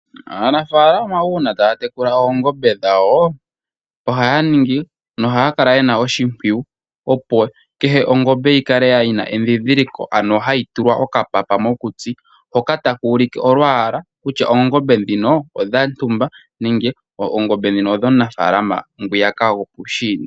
Aanafalama uuna taya tekula oongombe dhawo, ohaya ningi no haya kala yena oshimpwiyu opo kehe ongombe yi kale yina endhindhiliko, ano hayi tulwa oka papa mokutsi, hoka taka ulike olwaala kutya oongombe dhino odha ntumba nenge oongombe ndhino odho muna faalama ngwiyaka go puushiinda.